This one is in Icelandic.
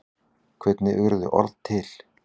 Hvernig urðu orð til?